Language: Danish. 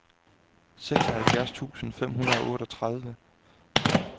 seksoghalvfjerds tusind fem hundrede og otteogtredive